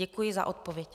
Děkuji za odpověď.